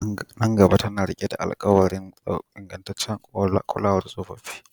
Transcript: Nan gaba tana riƙe da alƙawarin ingantaccen kulawar tsofaffi